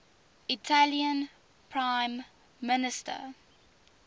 italian prime minister